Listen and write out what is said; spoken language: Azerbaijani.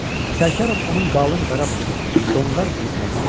Sərkarov onun qalın qara bığına, donqar burnuna baxdı.